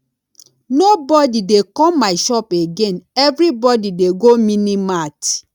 nobody dey come my shop again everybody dey go mini mart